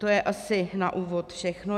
To je asi na úvod všechno.